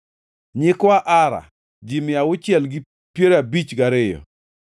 nyikwa Ara, ji mia auchiel gi piero abich gariyo (652),